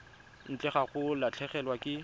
ntle ga go latlhegelwa ke